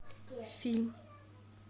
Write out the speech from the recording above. фильм